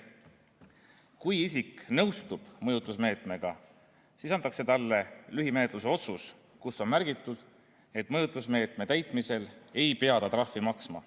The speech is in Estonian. Kui isik nõustub mõjutusmeetmega, siis antakse talle lühimenetluse otsus, kus on märgitud, et mõjutusmeetme täitmise korral ei pea ta trahvi maksma.